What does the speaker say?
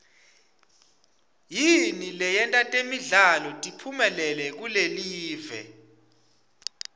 yini leyenta temidlalo tiphumelele kulelive